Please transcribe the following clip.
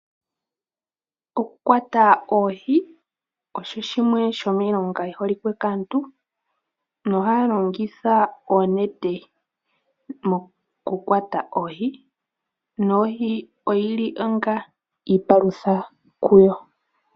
Okukwata oohi osho shimwe shomiilonga yi holike kaantu, nohaya longitha oonete mokukwata oohi, nohi oyi li onga iipalutha kuyo.